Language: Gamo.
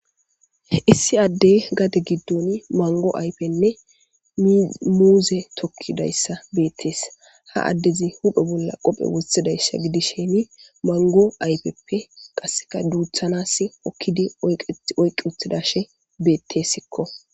Issi addey gade giddon mango aypenne muuze tokkidayssa beettees ha addezi hudho bolla qophe wothidayssa gidis sheemi mango aypeppe qasseka duuthanas okkidi oyqi uthidashe beettesikko.